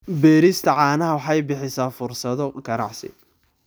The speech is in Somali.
Beerista caanaha waxay bixisaa fursado ganacsi.